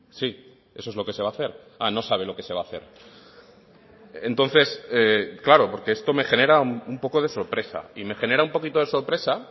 sí eso es lo que se va a hacer ah no sabe lo que se va a hacer entonces claro porque esto me genera un poco de sorpresa y me genera un poquito de sorpresa